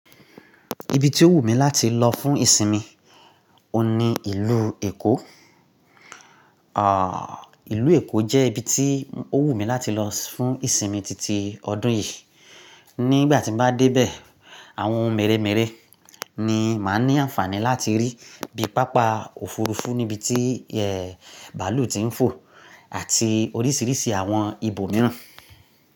Ibi tí ó wù mí láti lọ fún ìsinmi oun ní ìlú Èkó. À, ìlú Èkó jẹ́ ibi tí ó wù mí láti lọ fún ìsinmi titi ọdún yìí. Ni ìgbà tí n bá dé bẹ̀, àwọn ohun mèremère ni màá ní àǹfààní láti rí bíi pápá òfurufú níbi tí ẹ, bàálù ti ń fò àti oríṣiríṣi àwọn ibò mìíràn.